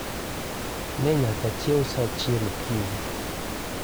Ne nyaka achiew sa achiel okinyi.